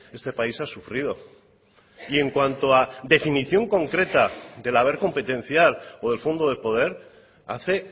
este país ha sufrido y en cuanto a definición concreta del haber competencial o del fondo de poder hace